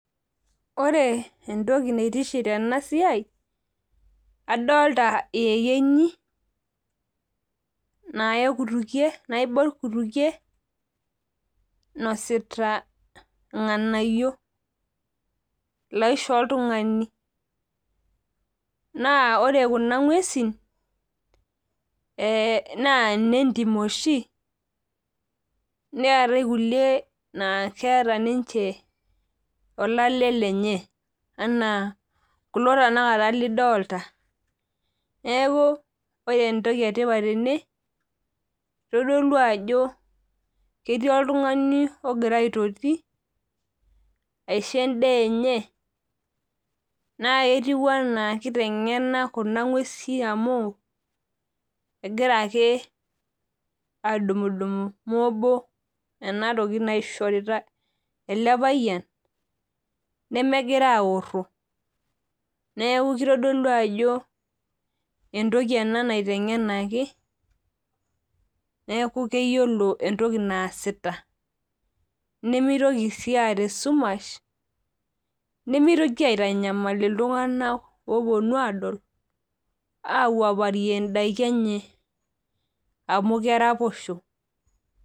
Ore entoki naituship tena siai. adolta iyekenyi naaibor kutukie. inosita ilnganayio. naishoo oltungani. naa ore Kuna nguesin naa ine ntim oshi. neetae kulie, naa keeta ninche olale lenye. anaa kulo tenakata lidolta. neeku ore entoki etipat tene. itodolu ajo ketii iltungani ogira aitoti aisho edaa enye. naa ketiu anaa kitegena Kuna guesi amu .egira ake, aadumudumu moobo. ena toki naishorita ele payian. nemegira aaro. neeku kitodolu ajo, entoki ena naitegenaki. neeku keyiolo entoki naasita. nimitoki sii aata esumash. nemitoki aitanyamal iltunganak oopuonu aadol, aawuaoarie daiki enye amu keraposho.